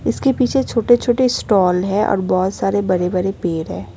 इसके पीछे छोटे छोटे स्टॉल है और बहोत सारे बड़े बड़े पेड़ है।